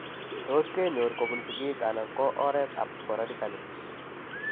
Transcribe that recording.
Tos kenyor kobun sigiik anan ko en oret ab sporadically